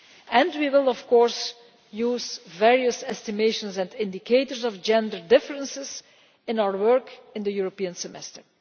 and we will, of course, use various estimates and indicators of gender difference in our work on the European Semester.